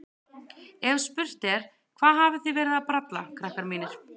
Ef spurt er: Hvað hafið þið verið að bralla, krakkar mínir?